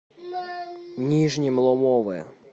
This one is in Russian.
нижнем ломове